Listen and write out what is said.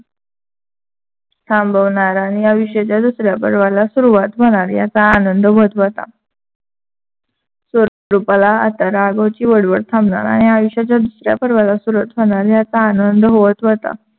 थांबवणार आणि या विश्वाच्या दुसऱ्या पर्वाला सुरुवात होणार याचा आनंद व्‍हत होता. स्वरूपाला आता राघवची वळवळ थांबणार आणि या आयुष्याच्या दुसऱ्या पर्वाला सुरुवात होणार याचा आनंद व्‍हत होता.